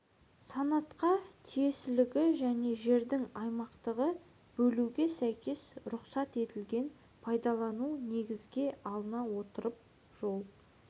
санатқа тиесілігі және жерді аймақтарға бөлуге сәйкес рұқсат етілген пайдалану негізге алына отырып жол